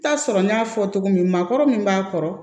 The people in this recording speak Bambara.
Taa sɔrɔ n y'a fɔ cogo min maakɔrɔ min b'a kɔrɔ